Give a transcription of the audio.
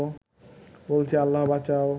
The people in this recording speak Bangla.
বলছি আল্লাহ বাঁচাও